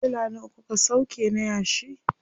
Tirela nawa kuka sauƙe na yashi?